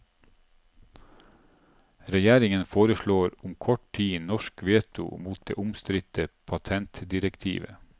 Regjeringen foreslår om kort tid norsk veto mot det omstridte patentdirektivet.